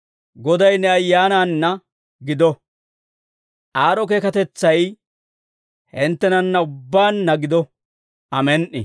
Goday ne ayyaanaanna gido. Aad'o keekatetsay hinttenanna ubbaanna gido. Amen"i.